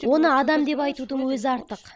оны адам деп айтудың өзі артық